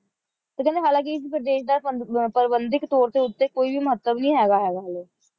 ਤੇ ਕਹਿੰਦੇ ਹਾਲਾਂਕਿ ਇਸ ਪ੍ਰਦੇਸ਼ ਦਾ ਪ੍ਰਬੰਧਿਕ ਤੌਰ ਦੇ ਉੱਤੇ ਕੋਈ ਵੀ ਮਹੱਤਵ ਨਹੀਂ ਹੈਗਾ ਹੁਗਾ ਹਾਲੇ